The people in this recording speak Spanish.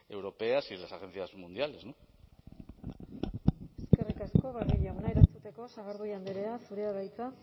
europeas y de las agencias mundiales eskerrik asko barrio jauna erantzuteko sagardui andrea zurea da hitza